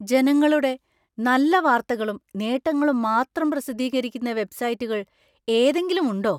ജനങ്ങളുടെ നല്ല വാർത്തകളും, നേട്ടങ്ങളും മാത്രം പ്രസിദ്ധീകരിക്കുന്ന വെബ്‌സൈറ്റുകൾ ഏതെങ്കിലും ഉണ്ടോ?